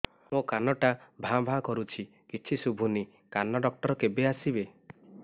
ମୋ କାନ ଟା ଭାଁ ଭାଁ କରୁଛି କିଛି ଶୁଭୁନି କାନ ଡକ୍ଟର କେବେ ଆସିବେ